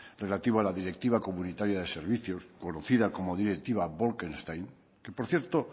relativo a la directiva comunitaria de servicios conocida como directiva bolkestein que por cierto